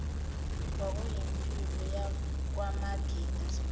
kwakuyimpilo yakwamagida sibhekane